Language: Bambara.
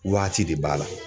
Waati de b'a la.